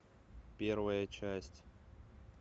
первая часть